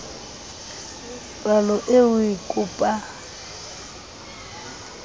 palo eo o e kopang